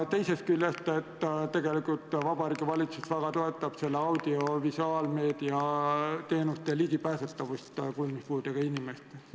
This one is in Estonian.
Teisest küljest, tegelikult Vabariigi Valitsus väga toetab seda, et audiovisuaalmeedia teenused on ligipääsetavad kuulmispuudega inimestele.